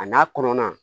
A n'a kɔnɔna